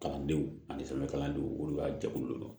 Kalandenw ani sɛbɛn kalandenw olu ka jɛkulu don